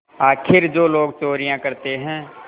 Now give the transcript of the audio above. आखिर जो लोग चोरियॉँ करते हैं